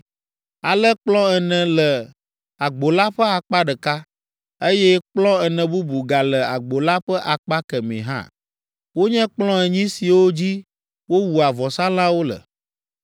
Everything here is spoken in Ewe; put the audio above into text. Ale kplɔ̃ ene le agbo la ƒe akpa ɖeka, eye kplɔ̃ ene bubu gale agbo la ƒe akpa kemɛ hã; wonye kplɔ̃ enyi siwo dzi wowua vɔsalãwo le.